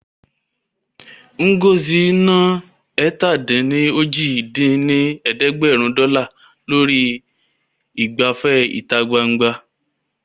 Ngozi ná ẹ̀ta-dín-ní-ojì dín ní ẹ̀ẹ́dẹ́gbẹ́rún dọ́là lórí ìgbafẹ́ ìta gbangba